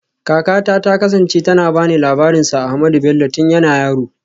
Kakata ta kasance tana ba ni labarin Sir Ahmadu Bello tun yana yaro